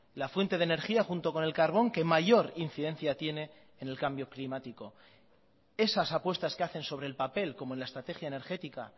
la fuente de energía junto con el carbón que mayor incidencia tiene en el cambio climático esas apuestas que hacen sobre el papel como en la estrategia energética